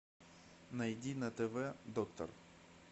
найди на тв доктор